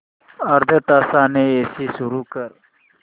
अर्ध्या तासाने एसी सुरू कर